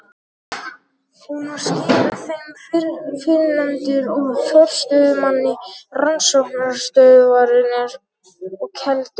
Hún var skipuð þeim fyrrnefndu og forstöðumanni rannsóknastöðvarinnar á Keldum.